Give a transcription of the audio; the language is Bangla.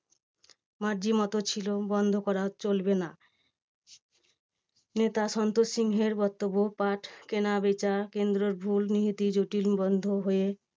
মর্জিমতো ছিল বন্ধ করা চলবে না। নেতা সন্তোষ সিংহের বক্তব্য পাট কেনা বেচা কেন্দ্রর ভুল নীতি জটিল বদ্ধ হয়ে